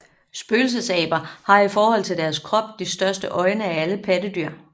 Spøgelsesaber har i forhold til deres krop de største øjne af alle pattedyr